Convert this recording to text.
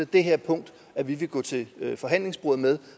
det her punkt vi vil gå til forhandlingsbordet med